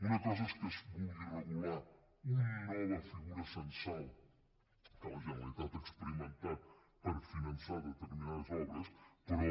una cosa és que es vulgui regular una nova figura censal que la generalitat ha experimentat per finançar determinades obres però